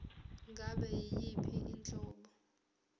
ngabe yiyiphi inhlobo